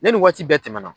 Ne ni waati bɛɛ tɛmɛna